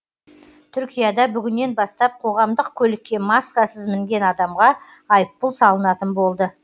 түркияда бүгіннен бастап қоғамдық көлікке маскасыз мінген адамға айыппұл салынатын болды